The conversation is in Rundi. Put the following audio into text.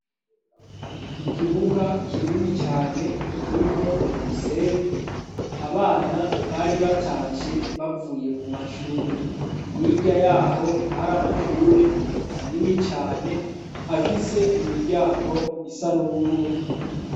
Ikibuga kinini cane kirimwo umusenyi abana bari batanshe bavuye mu mashure irya yaho hari amashure manini cane afise imiryango isa n'ubururu.